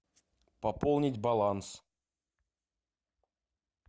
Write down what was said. пополнить баланс